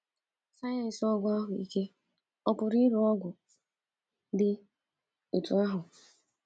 Sayensị ọgwụ ahụike ọ̀ pụrụ iru ogo dị otú ahụ?